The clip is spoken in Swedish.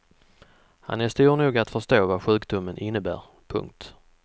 Han är stor nog att förstå vad sjukdomen innebär. punkt